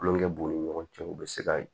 Kulonkɛ b'u ni ɲɔgɔn cɛ u bɛ se ka